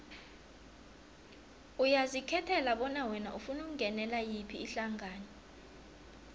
uyazikhethela bona wena ufuna ukungenela yiphi ihlangano